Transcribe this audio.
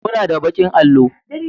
muna da bakin allo